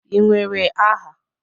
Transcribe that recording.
Ị nwere aha?